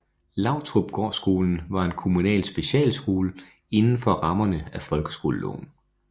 Lautrupgårdskolen var en kommunal specialskole inden for rammerne af folkeskoleloven